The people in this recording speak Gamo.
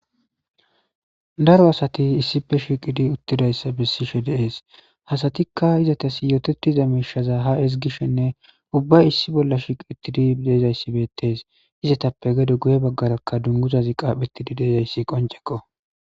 Daro asati issife shiqidi uttidayssa bessi she deees hasatikka izatas yototiza miishaza ha esgishshenne ubba issi bolla shiqiittidi deezayssi bettes izatappe gede guye baggarakka dunguzazi qaaphetidi deezayssi qonceko.